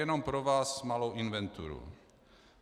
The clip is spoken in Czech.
Jenom pro vás malou inventuru.